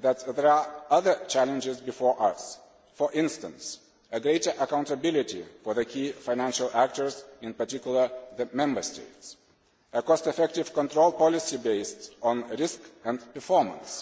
that there are other challenges before us, for instance, a greater accountability for the key financial actors, in particular, the Member States, and a cost effective control policy based on risk and performance.